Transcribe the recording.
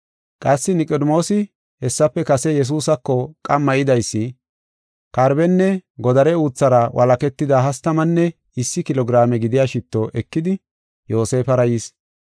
Qassi Niqodimoosi hessafe kase Yesuusako qamma yidaysi, karbenne godare uuthara walaketida hastamanne issi kilo giraame gidiya shitto ekidi Yoosefara yis.